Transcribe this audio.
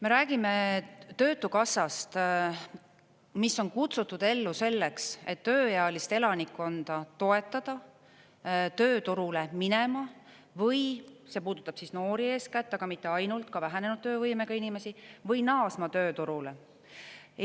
Me räägime Töötukassast, mis on kutsutud ellu selleks, et tööealist elanikkonda toetada tööturule minema, see puudutab noori eeskätt, aga mitte ainult, ka vähenenud töövõimega inimesi, või naasma tööturule.